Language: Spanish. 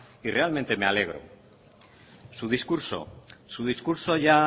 y realmente me alegro su discurso su discurso ya